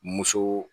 Muso